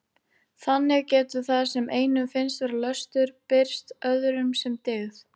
Þannig getur það sem einum finnst vera löstur birst öðrum sem dyggð.